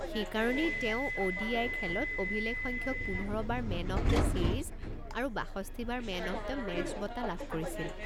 সেইকাৰণেই তেওঁ অ'.ডি.আই. খেলত অভিলেখসংখ্যক পোন্ধৰ বাৰ মেন অৱ দ্য ছিৰিজ আৰু বাষষ্ঠি বাৰ মেন অৱ দ্য মেচ বঁটা লাভ কৰিছিল।